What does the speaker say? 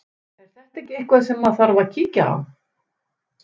Er þetta ekki eitthvað sem að þarf að kíkja á?